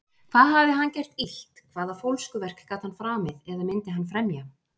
Hvað hafði hann gert illt- hvaða fólskuverk gat hann framið, eða myndi hann fremja?